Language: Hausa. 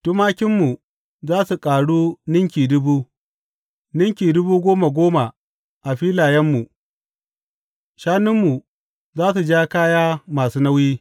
Tumakinmu za su ƙaru ninki dubu, ninki dubu goma goma a filayenmu; shanunmu za su ja kaya masu nauyi.